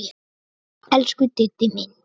Elsku Diddi minn.